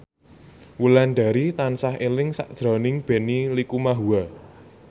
Wulandari tansah eling sakjroning Benny Likumahua